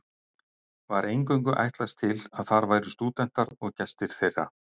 Var eingöngu ætlast til að þar væru stúdentar og gestir þeirra.